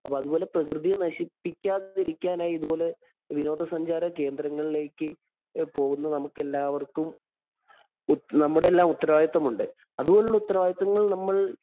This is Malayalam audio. അപ്പൊ അതുപോലെ പ്രകൃതിയെ നശിപ്പിക്കാതിരിക്കാനായി ഇതുപോലെ വിനോദസഞ്ചാരകേന്ദ്രങ്ങളിലേക്ക് പോവുന്ന നമുക്കെല്ലാവര്‍ക്കും നമ്മുടെ എല്ലാ ഉത്തരവാദിത്ത്വം ഉണ്ട്. അതുപോലെയുള്ള ഉത്തരവാദിത്തങ്ങള്‍ നമ്മള്‍